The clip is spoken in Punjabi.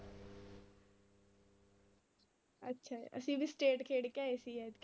ਅੱਛਾ ਅਸੀਂ ਵੀ state ਖੇਡ ਕੇ ਆਏ ਸੀ ਐਤਕੀ।